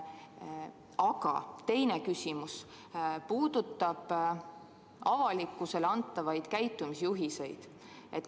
Minu teine küsimus puudutab avalikkusele antavaid käitumisjuhiseid.